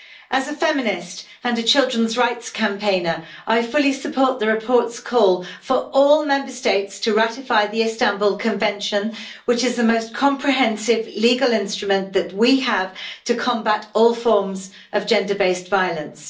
As a feminist and a children's rights campaigner, I fully support the report's call for all Member States to ratify the Istanbul Convention, which is the most comprehensive legal instrument that we have to combat all forms of gender based violence.